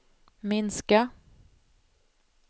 minska